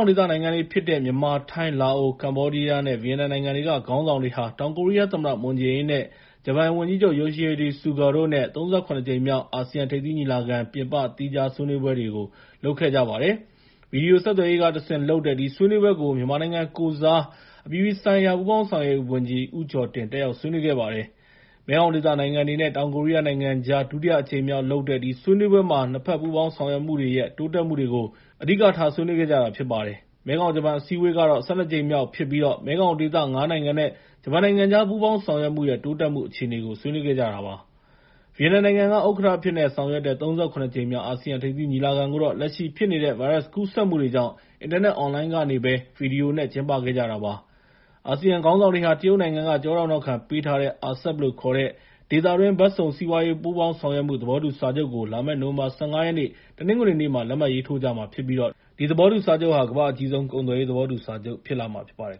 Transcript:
င်ဒေသနိုင်ငံတွေ ဖြစ်တဲ့ မြန်မာ၊ ထိုင်း၊ လာအို၊ ကမ္ဘောဒီးယား ၊ ဗီယက်နမ်နိုင်ငံတွေကခေါင်းဆောင်တွေဟာ တောင်ကိုရီးယားသမ္မတ မွန်ဂျေအင်းနဲ့ ဂျပန်ဝန်ကြီးချုပ် Yoshihide Suga တို့နဲ့ ၃၇ ကြိမ်မြောက် အာဆီယံထိပ်သီး ညီလာခံ ပြင်ပ သီးခြားဆွေးနွေးပွဲတွေ လုပ်ခဲ့ကြပါတယ်။ ဗွီဒီယိုဆက်သွယ်ရေးကနေ တဆင့် လုပ်တဲ့ ဒီဆွေးနွေးပွဲကို မြန်မာနိုင်ငံကိုယ်စား အပြည်ပြည်ဆိုင်ရာ ပူးပေါင်းဆောင်ရွက်ရေးဝန်ကြီး ဦးကျော်တင် တက်ရောက်ဆွေးနွေးခဲ့ပါတယ်။ မဲခေါင်ဒေသနိုင်ငံတွေနဲ့ တောင်ကိုရီးယားနိုင်ငံကြား ဒုတိယအကြိမ်မြောက်ပြုလုပ်တဲ့ ဒီဆွေးနွေးပွဲမှာ နှစ်ဘက် ပူးပေါင်းဆောင်ရွက်မှုတွေရဲ့ တိုးတက်မှုတွေကို အဓိကထားဆွေးနွေးခဲ့ကြတာဖြစ်ပါတယ်။ မဲခေါင်-ဂျပန် အစည်းအဝေးကတော့ ၁၂ ကြိမ်မြောက်ဖြစ်ပြီး မဲခေါင်ဒေသ ငါးနိုင်ငံနဲ့ ဂျပန်နိုင်ငံကြား ပူးပေါင်းဆောင်ရွက်မှုရဲ့ တိုးတက်မှုအခြေအနေကို ဆွေးနွေးခဲ့ကြပါတယ်။ ဗီယက်နမ်နိုင်ငံက ဥက္ကဋ္ဌအဖြစ်နဲ့ ဆောင်ရွက်တဲ့ ၃၇ ကြိမ်မြောက် အာဆီယံ ထိပ်သီးညီလာခံကိုတော့ လက်ရှိဖြစ်နေတဲ့ ဗိုင်းရပ်စ်ကူးစက်မှုတွေကြောင့် အင်တာနက်အွန်လိုင်းကနေပဲ ဗီဒီယိုနဲ့ ကျင်းပတာဖြစ်ပါတယ်။ အာဆီယံခေါင်းဆောင်တွေဟာ တရုတ်နိုင်ငံက ကျောထောက်နောက်ခံပေးထားတဲ့ RCEP လို့ခေါ်တဲ့ ဒေသတွင်း ဘက်စုံ စီးပွားရေး ပူးပေါင်းဆောင်ရွက်မှု သဘောတူစာချုပ်ကို လာမယ့် နိုဝင်ဘာ ၁၅ ရက်၊ တနင်္ဂနွေနေ့မှာ လက်မှတ်ရေးထိုးကြမှာဖြစ်ပြီး ဒီသဘောတူစာချုပ်ဟာ ကမ္ဘာ့အကြီးဆုံး ကုန်သွယ်ရေးသဘောတူ စာချုပ်ဖြစ်လာမှာဖြစ်ပါတယ်